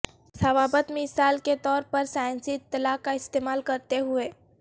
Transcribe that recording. ضوابط مثال کے طور پر سائنسی اطلاع کا استعمال کرتے ہوئے